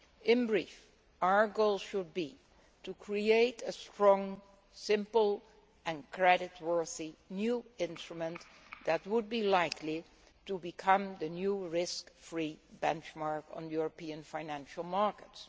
In brief, our goal should be to create a strong, simple and creditworthy new instrument that would be likely to become the new risk free benchmark on European financial markets.